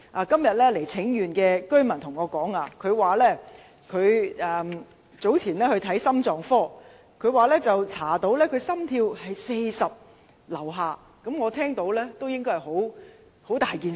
今天有位前來請願的九龍東居民告訴我，他早前到心臟科求診，發現心跳率只有40以下，我單是聽也覺得是大事。